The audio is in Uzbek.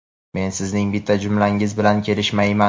Men sizning bitta jumlangiz bilan kelishmayman.